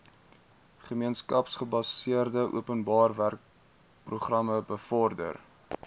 gemeenskapsgebaseerde openbarewerkeprogram bevorder